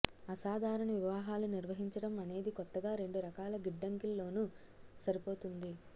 అసాధారణ వివాహాలు నిర్వహించడం అనేది కొత్తగా రెండు రకాల గిడ్డంగిల్లోనూ సరిపోతుంది